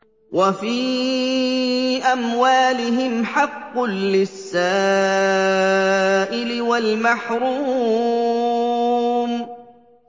وَفِي أَمْوَالِهِمْ حَقٌّ لِّلسَّائِلِ وَالْمَحْرُومِ